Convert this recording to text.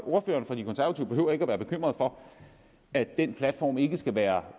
ordføreren for de konservative behøver ikke at være bekymret for at den platform ikke skal være